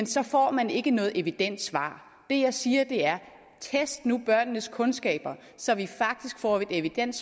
så får man ikke noget evident svar det jeg siger er test nu børnenes kundskaber så vi faktisk får evidens